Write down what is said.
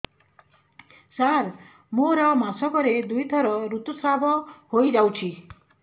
ସାର ମୋର ମାସକରେ ଦୁଇଥର ଋତୁସ୍ରାବ ହୋଇଯାଉଛି